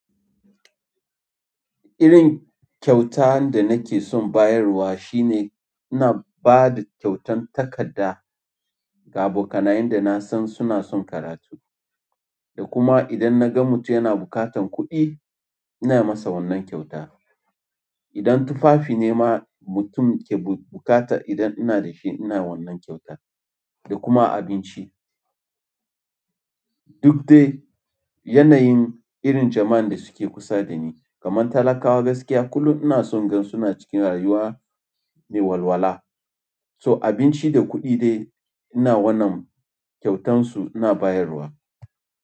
Irin kyauta da nake son bayarwa shine ina ba da kyautan takadda ga abokanayen da na san suna son karatu. Da kuma idan na ga mutum yana buƙatan kuɗi, ina masa wannan kyauta. Idan tufafi ne ma mutum ke buƙata, idan ina da shi ina wannan kyauta. Da kuma abinci. Duk dai yanayin irin jama'an da suke kusa da ni. Kaman talakawa gaskiya kullun ina son in gan suna cikin rayuwa mai walwala. So abinci da kuɗi dai ina wannan kyautan su ina bayarwa.